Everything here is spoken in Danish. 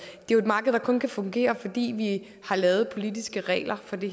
det er et marked der kun kan fungere fordi vi har lavet politiske regler for det